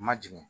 Ma jigin